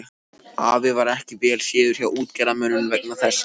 Afi varð ekki vel séður hjá útgerðarmönnum vegna þessa.